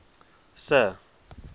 sir